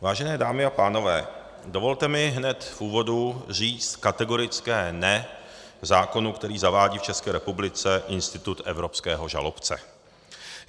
Vážené dámy a pánové, dovolte mi hned v úvodu říct kategorické ne zákonu, který zavádí v České republice institut evropského žalobce.